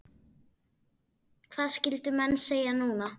Hvað skyldu menn segja núna?